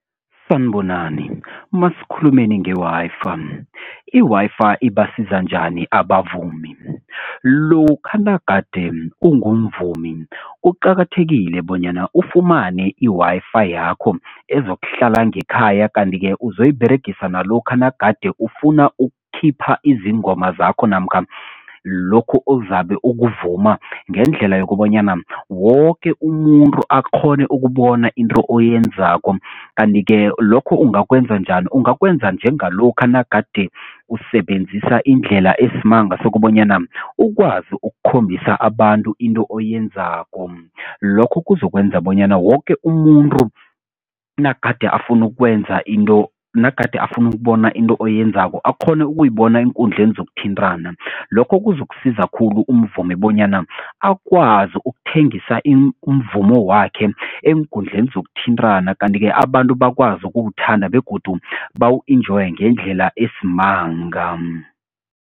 Sanibonani masikhulumeni nge-Wi-Fi, i-Wi-Fi ibasiza njani abavumi? Lokha nagade ungumvumi kuqakathekile bonyana ufumane i-Wi-Fi yakho ezokuhlala ngekhaya, kanti-ke uzoyiberegisa nalokha nagade ufuna ukukhipha izingoma zakho namkha lokhu ozabe ukuvuma ngendlela yokobanyana woke umuntu akghone ukubona into oyenzako. Kanti-ke lokho ungakwenza njani? Ungakwenza njengalokha nagade usebenzisa indlela esimanga sokobanyana ukwazi ukukhombisa abantu into oyenzako, lokhu kuzokwenza bonyana woke umuntu nagade afuna ukwenza into, nagade afuna ukubona into oyenzako akghone ukuyibona eenkundleni zokuthintana lokho kuzokusiza khulu umvumi bonyana akwazi ukuthengisa umvumo wakhe eenkundleni zokuthintana, kanti-ke abantu bakwazi ukuwuthanda begodu bawu-enjoye ngendlela esimanga.